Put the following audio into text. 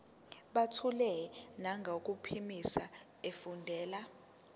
buthule nangokuphimisa efundela